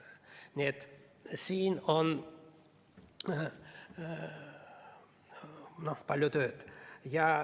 Nii et siin on palju tööd.